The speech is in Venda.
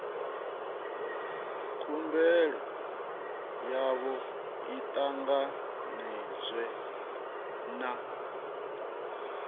khumbelo yavho i ṱanganedzwe na